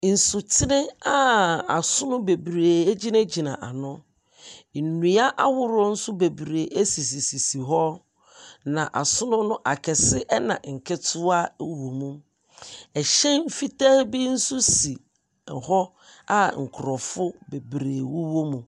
Nsutene a asono bebree gyinagyina ano. Nnua ahorow bebree nso sisi hɔ, na asono no akɛse ɛna nketewa wowɔ mu. Ɛhyɛn ketewaa bi nso si hɔ a nkorɔfo bebree wowɔ mu.